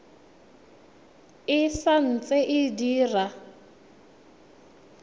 e sa ntse e dira